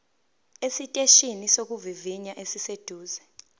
esiteshini sokuvivinya esiseduze